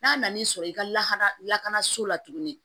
N'a nan'i sɔrɔ i ka lahala lakanaso la tuguni